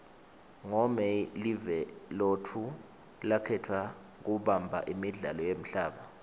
ngo may live lotfu lakhetfwa kubamba imidlalo yemhlaba